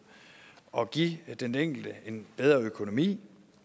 og give den enkelte en bedre økonomi